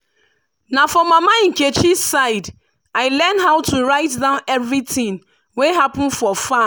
na for mama nkechi side i learn how to write down everything wey happen for farm.